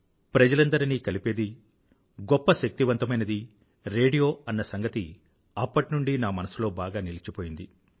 ప్రజలందరినీ కలిపేది గొప్ప శక్తివంతమైనది రేడియో అన్న సంగతి అప్పటి నుండీ నా మనసులో బాగా నిలిచిపోయింది